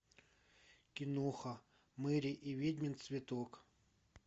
киноха мери и ведьмин цветок